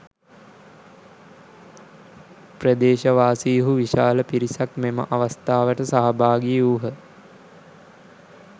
ප්‍රදේශවාසීහු විශාල පිරිසක් මෙම අවස්ථාවට සහභාගී වූහ